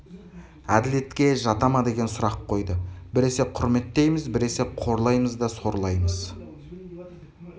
әділетке жата ма деген сұрақ қойды біресе құрметтейміз біресе қорлаймыз да сорлаймыз